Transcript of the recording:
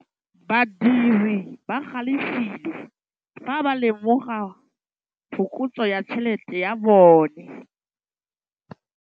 Badiri ba galefile fa ba lemoga phokotsô ya tšhelête ya bone.